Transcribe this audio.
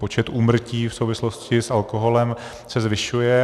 Počet úmrtí v souvislosti s alkoholem se zvyšuje.